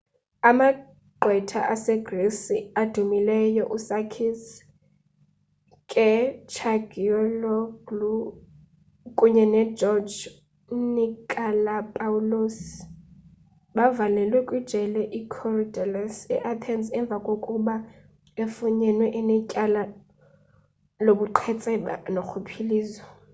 amagqwetha asegrisi adumileyo usakis kechagioglou kunye nogeorge nikolakopoulos bavalelwe kwijele ikorydallus eathens emva kokuba efunyenwe enetyala lobuqhetseba norhwaphilizo